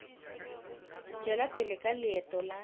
tšwela pele ka leeto la